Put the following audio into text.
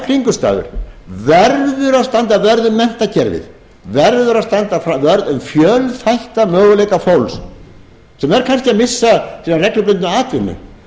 kringumstæður verður að standa vörð um menntakerfið verður að standa vörð um fjölþætta möguleika fólks sem er kannski að missa sína reglubundnu atvinnu